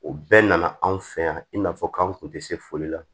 O bɛɛ nana anw fɛ yan i n'a fɔ k'an kun tɛ se foli la